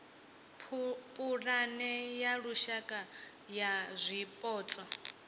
pulane ya lushaka ya zwipotso